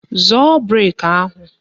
Zọọ brek ahụ!